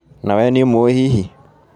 Na we nĩũmũĩ hihi?